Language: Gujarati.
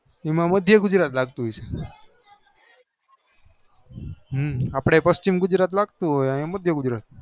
એમાં માંધેય ગુજરાત લાગતું હશે હમ અપડે પન્ચીમ ગુજરાત લાગતું હશે અહી માંધેય ગુજરાત